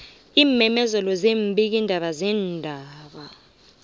iimemezelo zeembikiindaba zeendaba